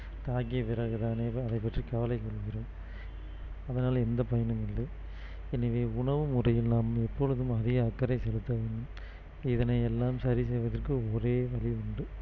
தாக்கிய பிறகு தானே அதை பற்றி கவலை கொள்கிறோம் அதனால் எந்த பயனும் இல்லை எனவே உணவு முறையில் நாம் எப்பொழுதும் அதிக அக்கறை செலுத்த வேண்டும் இதனை எல்லாம் சரி செய்வதற்கு ஒரே வழி உண்டு